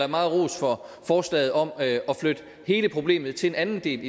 meget ros for forslaget om at flytte hele problemet til en anden del